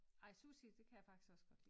Ej sushi det kan jeg faktisk også godt lide